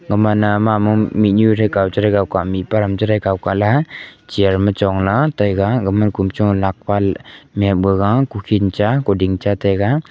gomana mamo mihnyu kaw chirawkow ka mihpa chirawkow kaley chair chongla taiga agama kumcho lakpal miapbagaga kukhin cha kuding cha taiga.